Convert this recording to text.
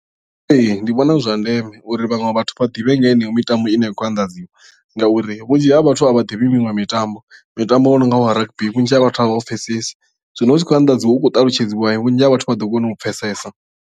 Ee ndi vhona zwi zwa ndeme uri vhaṅwe vhathu vha ḓivhe nga heneyo mitambo ine ya khou anḓadziwa ngauri vhunzhi ha vhathu a vha ḓivhi miṅwe mitambo mitambo yo nonga wa rugby vhunzhi ha vhathu a vha u pfhesesi zwino hu tshi khou anḓadziwa u khou talutshedziwa vhunzhi ha vhathu vha ḓo kona u pfhesesa.